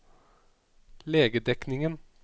legedekningen